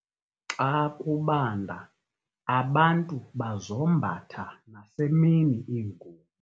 Xa kubanda abantu bazombatha nasemini iingubo.